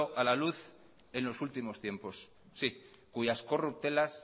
a la luz en los últimos tiempos sí cuyas corruptelas